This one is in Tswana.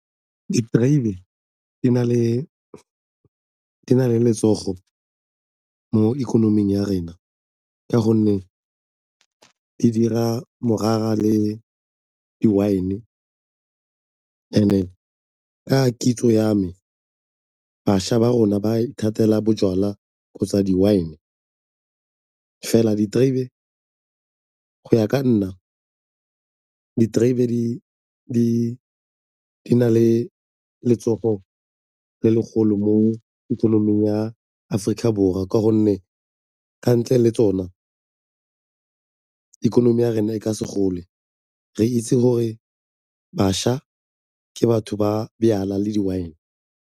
Diterebe di na le letsogo mo ikonoming ya rena ka gonne e dira morara le di-wine and-e ka kitso ya me bašwa ba rona ba ithatela bojalwa kgotsa di-wine. Fela diterebe, go ya ka nna, diterebe di na le letsogo le legolo mo ikonoming ya Aforika Borwa ka gonne ka ntle le tsona ikonomi ya rona e ka se gole re itse gore bašwa ke batho ba bojalwa le di-wine.